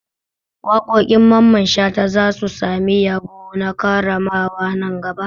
Waƙoƙin Mamman Shata za su sami yabo na karramawa nan gaba.